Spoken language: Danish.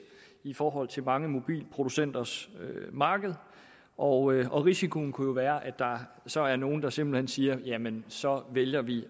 i forhold til mange mobilproducenters marked og risikoen kunne jo være at der så er nogle der simpelt hen siger jamen så vælger vi